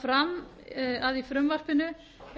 fram að í frumvarpinu